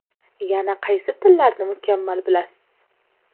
Yana qaysi tillarni mukammal bilasiz?